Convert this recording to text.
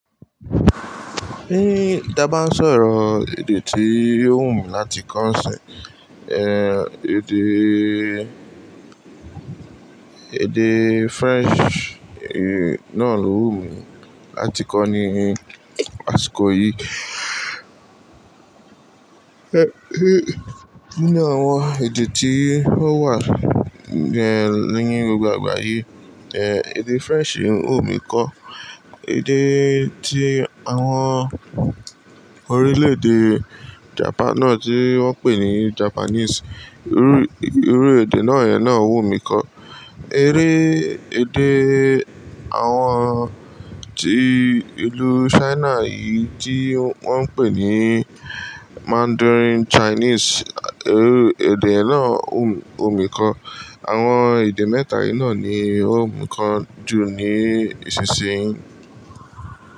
Bí tàábá ń sọ̀rọ̀, èdè tí ó wù mí láti kọ́ ṣẹ̀, eh, èdè, èdè French, eh, náà ló wù mí láti kọ́ ní àsìkò yìí. Eh, nínú àwọn èdè tí ó wà, eh, lẹ́yìn gbogbo àgbáyé, eh, èdè French wù mí kọ. Èdè tí àwọn orílè-èdè Japan náà tí wọ́n pè ní Japanese, irú, irú èdè náà yẹn náà wù mí kọ. Eré èdè àwọn tí ìlú China yìí tí wọ́n ń pè ní Mandarin Chinese, irú èdè náà wù, wù mí kọ. Àwọn èdè mẹ́ta yìí náà ni ó wù mí kọ jù ní ìsinsìnyí.